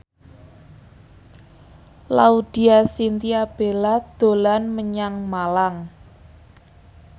Laudya Chintya Bella dolan menyang Malang